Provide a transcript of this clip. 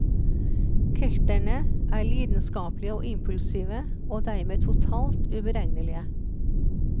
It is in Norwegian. Kelterne er lidenskapelige og impulsive, og dermed totalt uberegnelige.